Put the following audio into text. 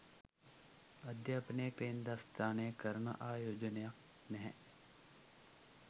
අධ්‍යාපනයේ කේන්ද්‍රස්ථානය කරන ආයෝජනයත් නැහැ